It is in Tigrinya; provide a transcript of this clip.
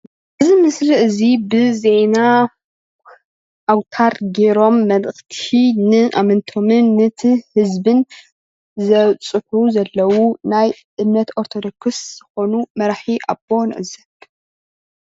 እዚ ምስሊ እዚ ብዜና ኣውታር ጌሮም መልእክቲ ንኣመንቶምን ነቲ ህዝብን ዘብፅሑ ዘለው ናይ እምነት ኦርቶዶክስ ዝኮኑ መራሒ ኣቦ ንዕዘብ፡፡